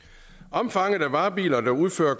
omfanget af varebiler der udfører